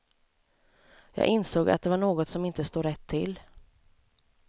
Jag insåg att det var något som inte stod rätt till.